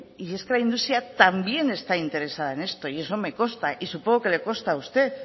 y es que la industria también está interesada en esto y eso me costa y supongo que le consta a usted